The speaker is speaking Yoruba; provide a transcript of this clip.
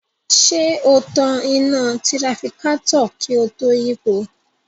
Ṣé o tan iná tirafikátọ̀ kí o tó yípo?